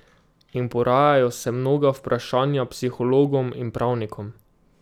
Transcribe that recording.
In porajajo se mnoga vprašanja psihologom in pravnikom.